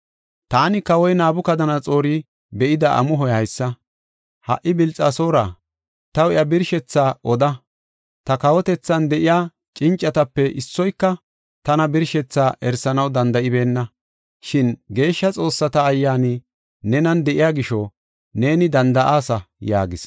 “Taani, Kawoy Nabukadanaxoori be7ida amuhoy haysa: Ha77i, Bilxasoora, taw iya birshethaa oda. Ta kawotethan de7iya cincatape issoyka tana birshetha erisanaw danda7ibeenna. Shin geeshsha xoossata ayyaani nenan de7iya gisho, neeni danda7aasa” yaagas.